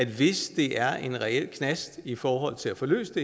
hvis det er en reel knast i forhold til at få løst